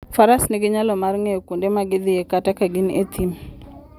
Faras nigi nyalo mar ng'eyo kuonde ma gidhiye kata ka gin e thim.